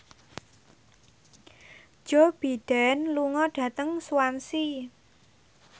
Joe Biden lunga dhateng Swansea